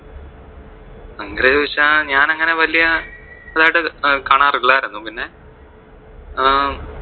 അങ്ങനെ ചോദിച്ചാൽ ഞാൻ അങ്ങനെ വെല്യ ഇതായിട്ട് ഒക്കെ കാണാറില്ലായിരുന്നു, പിന്നെ അഹ്